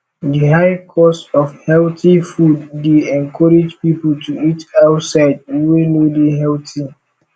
di high cost of healthy food dey encourage people to eat outside wey no dey healthy